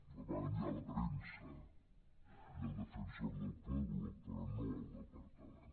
el van enviar a la premsa i al defensor del pueblo però no al departament